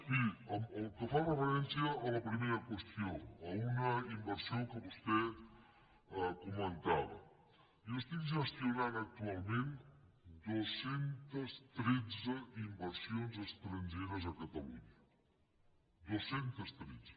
miri amb referència a la primera qüestió a una inversió que vostè comentava jo gestiono actualment dos cents i tretze inversions estrangeres a catalunya dos cents i tretze